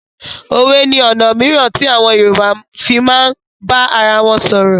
Òwe ni ọ̀nà mìíràn tí àwọn Yorùbá fii máa ń bá arawọn sọ̀rọ̀.